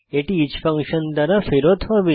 এটি each function দ্বারা ফেরত হবে